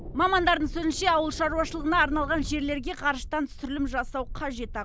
мамандардың сөзінше ауыл шаруашылығына арналған жерлерге ғарыштан түсірілім жасау қажет ақ